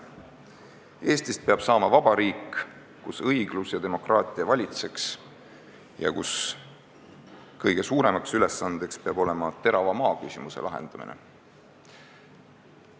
Eestist peab saama vabariik, kus õiglus ja demokraatia valitseks, ja kõige suuremaks ülesandeks peab olema terava maaküsimuse lahendamine.